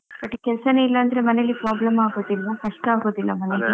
ಮತ್ತೆ ಕೆಲಸನೇ ಇಲ್ಲಾಂದ್ರೆ ಮನೆಯಲ್ಲಿ problem ಆಗೋದಿಲ್ವಾ, ಕಷ್ಟ ಆಗೋದಿಲ್ವಾ ಮನೆಯಲ್ಲಿ?